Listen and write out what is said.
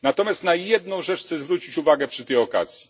Natomiast na jedną rzecz chcę zwrócić uwagę przy tej okazji.